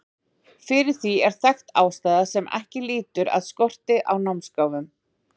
fyrir því er þekkt ástæða sem ekki lýtur að skorti á námsgáfum